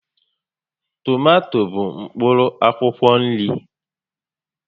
Tomato bụ mkpụrụ akwụkwọ nri